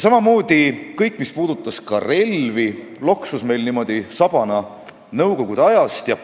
Samamoodi loksus kõik, mis puudutas relvi, meil niimoodi sabana nõukogude ajast kaasas.